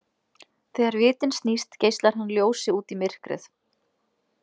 Þegar vitinn snýst geislar hann ljósi út í myrkrið.